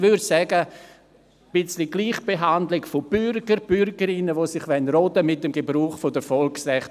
Ich würde sagen, dass ein wenig Gleichbehandlung der Bürgerinnen und Bürgern, die sich regen und ihre Volksrechte gebrauchen wollen, gut wäre.